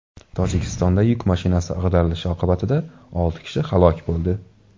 Tojikistonda yuk mashinasi ag‘darilishi oqibatida olti kishi halok bo‘ldi.